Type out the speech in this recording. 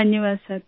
धन्यवाद सर